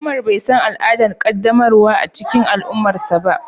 umar bai san al'adar qaddamarwa a cikin al'ummarsa ba.